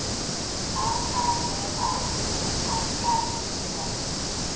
a amegang go akarediwa le